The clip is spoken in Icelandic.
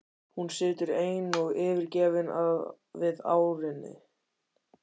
Hún situr ein og yfirgefin við arininn.